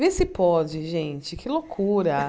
Vê se pode, gente, que loucura.